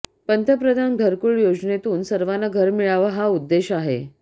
पंतप्रधान घरकुल योजनेतून सर्वांना घर मिळावं हा उद्देश आहे